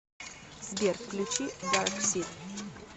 сбер включи дарксид